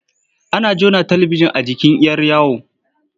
Ana jona talibijin a jikin 'yar yawo.